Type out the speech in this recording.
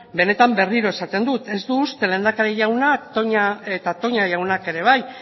benetan berriro esaten dut ez du uste lehendakari jaunak eta toña jaunak ere bai